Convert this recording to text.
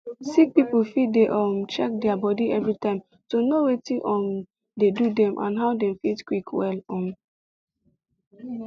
sick people fit dey um check their body everytime to know watin um dey do dem and how dem fit quick well um